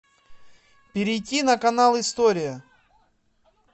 перейти на канал история